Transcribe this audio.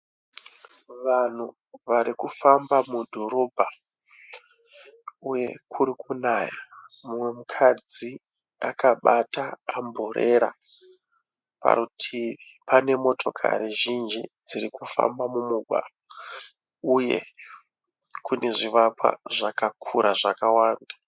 Vanhu vari kufamba mudhorobha uye kuri kunaya. Umwe mukadzi akabata amburera. Parutivi pane motikari zhinji dziri kufamba mumugwagwa uye pane zvivakwa zvakakura zvakawanda.